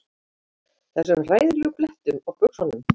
Þessum hræðilegu blettum á buxunum.